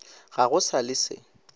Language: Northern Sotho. ga go sa le se